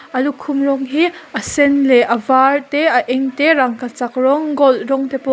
a lukhum rawng hi a sen leh a var te a eng te rangkachak rawng gold rawng te pawh--